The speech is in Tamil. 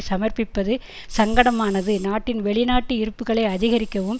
சமர்ப்பிப்பது சங்கடமானது நாட்டின் வெளிநாட்டு இருப்புகளை அதிகரிக்கவும்